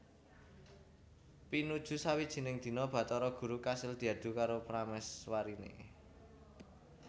Pinuju sawijining dina Bathara Guru kasil diadu karo pramèswariné